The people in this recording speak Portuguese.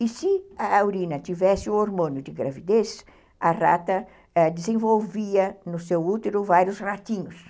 E se a urina tivesse o hormônio de gravidez, a rata é desenvolvia no seu útero vários ratinhos.